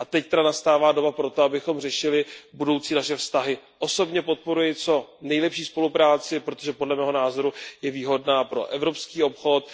Teď nastává doba pro to, abychom řešili naše budoucí vztahy. Osobně podporuji co nejlepší spolupráci, protože podle mého názoru je výhodná pro evropský obchod.